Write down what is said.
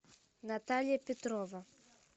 наталья петрова